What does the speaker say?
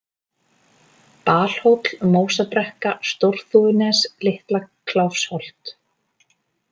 Balhóll, Mósabrekka, Stórþúfunes, Litla-Kláfsholt